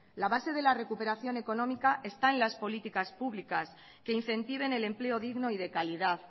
la base de la recuperación económica está en las políticas públicas que incentiven el empleo digno y de calidad